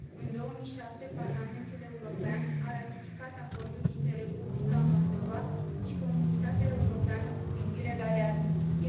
În 2007, Parlamentul European a ratificat acordul dintre Republica Moldova și Comunitatea Europeană cu privire la readmisie.